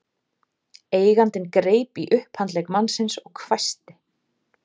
Eigandinn greip í upphandlegg mannsins og hvæsti